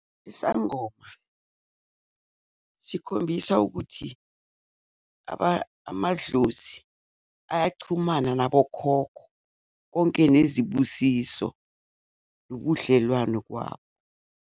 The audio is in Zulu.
Isangoma sikhombisa ukuthi amadlozi ayachumana nabokhokho konke nezibusiso nobudlelwano kwabo.